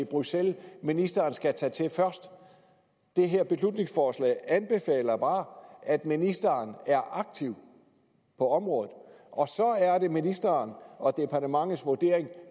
bruxelles ministeren skal tage til først det her forslag til anbefaler bare at ministeren er aktiv på området og så er det ministeren og departementets vurdering